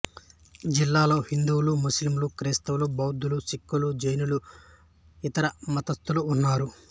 జిల్లాలో హిందువులు ముస్లిములు క్రైస్తవులు బౌద్ధులు సిక్కులు జైనులు ఇతర మతస్థులు ఉన్నారు